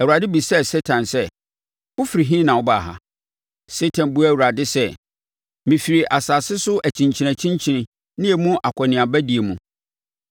Awurade bisaa Satan sɛ, “Wofiri he na wobaa ha?” Satan buaa Awurade sɛ, “Mefiri asase so akyinkyinakyinkyini ne emu akɔneabadie mu.”